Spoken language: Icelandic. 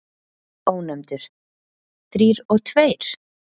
Ónefndur: Þrír og tveir?